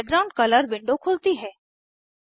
background colour window खुलती है